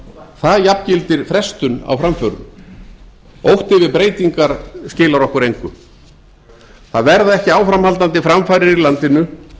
það jafngildir frestun á framförum ótti við breytingar skilar okkur engu það verða ekki áframhaldandi framfarir í landinu